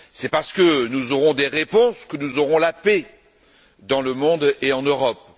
C'est parce que nous aurons des réponses que nous aurons la paix dans le monde et en Europe.